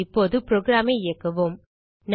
இப்போது புரோகிராம் ஐ இயக்குவோம்